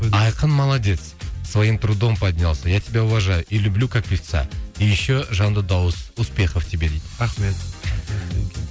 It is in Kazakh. айқын молодец своим трудом поднялся я тебя уважаю и люблю как певца и еще жанды дауыс успехов тебе дейді рахмет